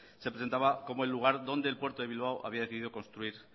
se presentaba como el lugar donde el puerto de bilbao había decidido construir